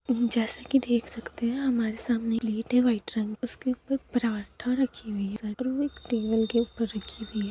जैसे की देख सकते है हमारे सामने प्लेट है वाइट रंग की उसके ऊपर पराठा रखी हुई है एक टेबल पे रखी हुई है